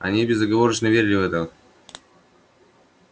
они безоговорочно верили в это